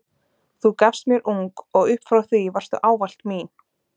Þú gafst mér ung og upp frá því varstu ávallt mín.